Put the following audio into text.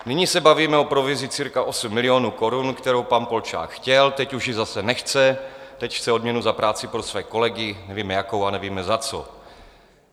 Nyní se bavíme o provizi cirka 8 milionů korun, kterou pan Polčák chtěl, teď už ji zase nechce, teď chce odměnu za práci pro své kolegy, nevíme jakou a nevíme, za co.